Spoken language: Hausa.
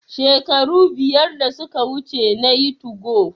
Shekaru biyar da suka wuce nayi 2go